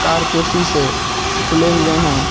Car के शीशे खुले हुए है।